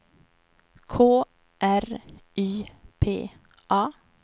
K R Y P A